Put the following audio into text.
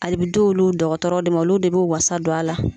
Ale d'olu dɔkɔtɔrɔ de ma olu de b'u wasa don a la